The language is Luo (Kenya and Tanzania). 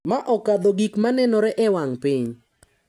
ma okadho gik ma nenore e wang’ piny.